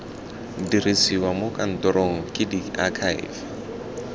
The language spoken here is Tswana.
dirisiwa mo kantorong ke diakhaefe